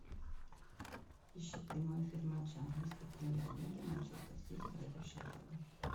ищи прямой эфир матча английской премьер лиги манчестер сити против шеффилда